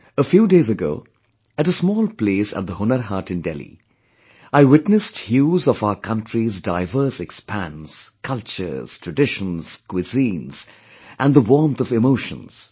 A few days ago, at a small place at the Hunar Haat in Delhi, I witnessed hues of our country's diverse expanse, cultures, traditions, cuisines & the warmth of emotions